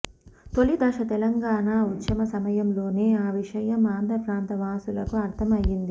తొలి దశ తెలంగాణా ఉద్యమ సమయంలోనే ఆ విషయం ఆంధ్ర ప్రాంత వాసులకు అర్ధం అయ్యింది